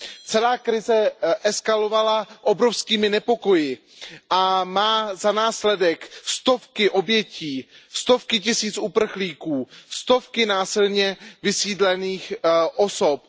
Celá krize eskalovala obrovskými nepokoji a má za následek stovky obětí, stovky tisíc uprchlíků, stovky násilně vysídlených osob.